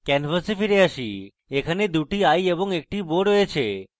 এরপর canvas ফিরে আসি সেখানে 2 টি eye এবং একটি bow রয়েছে